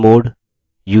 userdel